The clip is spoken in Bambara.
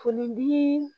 Foni bi